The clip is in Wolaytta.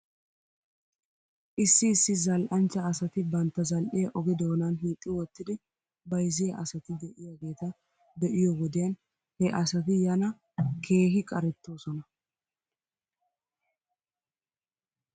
Issi issi zal'anchcha asati bantta zal'iyaa oge doonan hiixxi wottidi bayzziyaa asati de'iyaageeta be'iyoo wodiyan he asati yana keehi qarettoosona